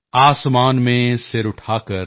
ਆਸਮਾਨ ਮੇਂ ਸਿਰ ਉਠਾ ਕਰ